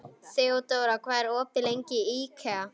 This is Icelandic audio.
Þeódóra, hvað er opið lengi í IKEA?